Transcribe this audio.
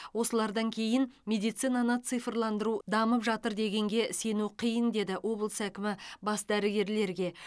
осылардан кейін медицинаны цифрландыру дамып жатыр дегенге сену қиын деді облыс әкімі бас дәрігерлерге